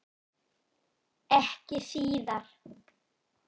Ekki síðar.